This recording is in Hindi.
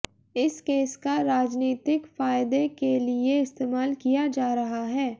इस केस का राजनीतिक फायदे के लिए इस्तेमाल किया जा रहा है